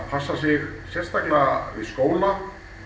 passa sig sérstaklega við skóla